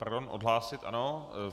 Pardon odhlásit, ano.